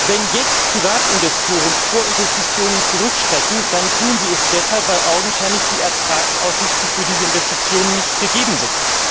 Wenn jetzt Privatinvestoren vor Investitionen zurückschrecken, dann tun sie es deshalb, weil augenscheinlich die Ertragsaussichten für diese Investitionen nicht gegeben sind.